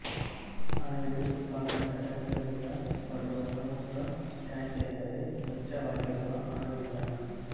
ಅಣು ವಿದ್ಯುತ್ ಉತ್ಪಾದನಾ ಘಟಕಗಳಿಂದ ಬರುವ ಪ್ರಮುಖ ತ್ಯಾಜ್ಯ ಎಂದರೆ ವೆಚ್ಚವಾಗಿರುವ ಅಣು ಇಂಧನ